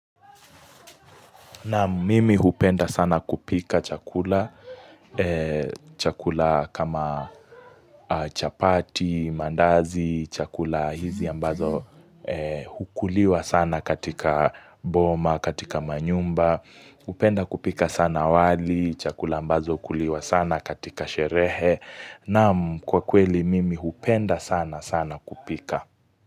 Naam mimi hupenda sana kupika chakula. Chakula kama chapati, mandazi, chakula hizi ambazo hukuliwa sana katika boma, katika manyumba. Upenda kupika sana wali, chakula ambazo hukuliwa sana katika sherehe. Naam kwa kweli mimi hupenda sana sana kupika.